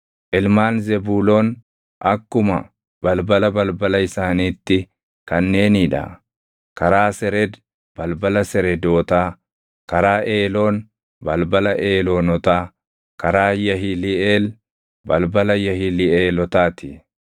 Ilmaan Zebuuloon akkuma balbala balbala isaaniitti kanneenii dha: karaa Sered, balbala Seredootaa; karaa Eeloon, balbala Eeloonotaa; karaa Yahiliʼeel, balbala Yahiliʼeelotaa ti.